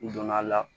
N donna a la